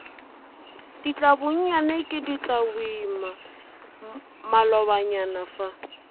ditlabonyane ke ditlaboima malobanyana fa